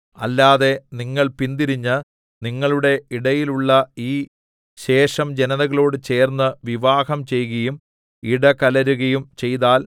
അല്ലാതെ നിങ്ങൾ പിന്തിരിഞ്ഞ് നിങ്ങളുടെ ഇടയിലുള്ള ഈ ശേഷം ജനതകളോട് ചേർന്നു വിവാഹം ചെയ്കയും ഇടകലരുകയും ചെയ്താൽ